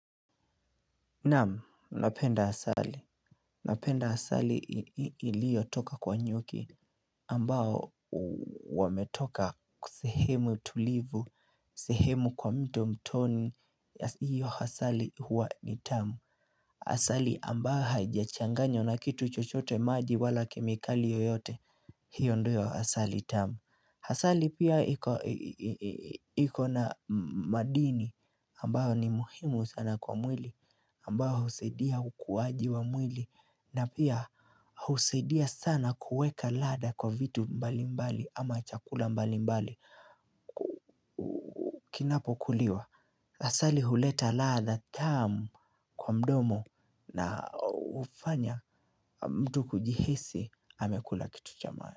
Naamu, napenda asali, napenda asali ilio toka kwa nyuki ambao wametoka sehemu tulivu, sehemu kwa mto mtoni, hiyo asali huwa ni tamu Asali ambayo haijachanganywa na kitu chochote maji wala kemikali yoyote hiyo ndoyo asali tamu Asali pia iko na madini ambayo ni muhimu sana kwa mwili ambao usidia kukuwaji wa mwili na pia husaidia sana kuweka labda kwa vitu mbali mbali ama chakula mbali mbali Kinapo kuliwa Asali huleta ladha tamu kwa mdomo na hufanya mtu kujihisi amekula kitu cha maana.